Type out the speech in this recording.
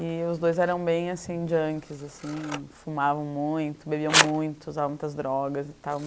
E os dois eram bem, assim, junkies, assim, fumavam muito, bebiam muito, usavam muitas drogas e tal.